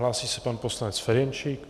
Hlásí se pan poslanec Ferjenčík.